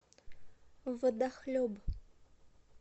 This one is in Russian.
водохлеб